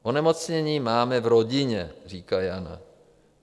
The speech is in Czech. Onemocnění máme v rodině, říká Jana.